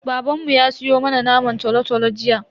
Babanmu ya siyo mana naman tolo-tolo jiya.